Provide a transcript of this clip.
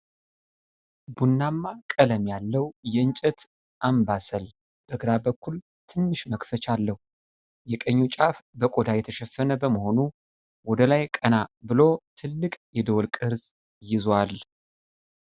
ቡናማ ቀለም ያለው የእንጨት አምባሰል በግራ በኩል ትንሽ መክፈቻ አለው። የቀኙ ጫፍ በቆዳ የተሸፈነ በመሆኑ ወደ ላይ ቀና ብሎ ትልቅ የደወል ቅርጽ ይይዛል።